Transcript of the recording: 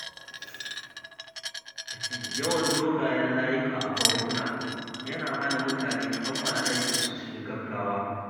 Yawan dogayen layuka a bankuna yana hana mutane kammala aikinsu cikin gaggawa.